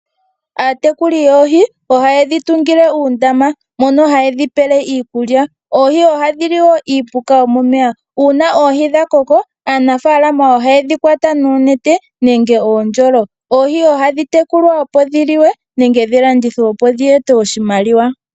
Aatekuli yoohi ohayedhi tungile uundama mono hayedhi pele iikulya. Oohi ohadhi li woo iipuka yomomeya. Uuna oohi dha koko aanafaalama ohayedhi kwata noonete nenge uundjolo. Oohi ohadhi tekulwa opo dhi liwe nenge dhi landithwe opo dhi ete oshimaliwa.